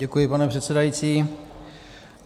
Děkuji, pane předsedající.